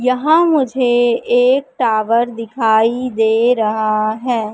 यहां मुझे एक टावर दिखाई दे रहा है।